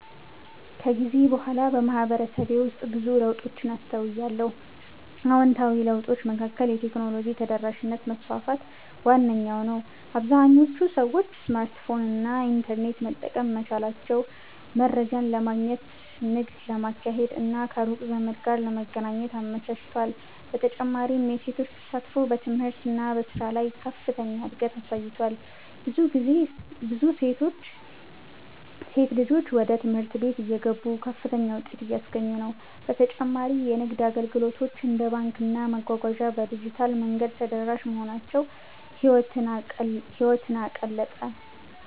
ከጊዜ በኋላ በማህበረሰቤ ውስጥ ብዙ ለውጦችን አስተውያለሁ። አዎንታዊ ለውጦቹ መካከል የቴክኖሎጂ ተደራሽነት መስፋፋት ዋነኛው ነው - አብዛኞቹ ሰዎች ስማርትፎን እና ኢንተርኔት መጠቀም መቻላቸው መረጃን ለማግኘት፣ ንግድ ለማካሄድ እና ከሩቅ ዘመድ ጋር ለመገናኘት አመቻችቷል። በተጨማሪም የሴቶች ተሳትፎ በትምህርት እና በሥራ ላይ ከፍተኛ እድገት አሳይቷል፤ ብዙ ሴት ልጆች ወደ ትምህርት ቤት እየገቡ ከፍተኛ ውጤት እያስገኙ ነው። በተጨማሪ የንግድ አገልግሎቶች እንደ ባንክና መጓጓዣ በዲጂታል መንገድ ተደራሽ መሆናቸው ህይወትን አቀለጠ።